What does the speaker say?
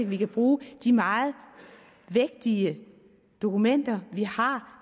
vi kan bruge de meget vægtige dokumenter vi har